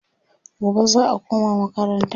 gobe za'a koma makaranta